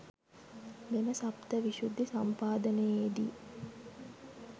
මෙම සප්ත විශුද්ධි සම්පාදනයේදී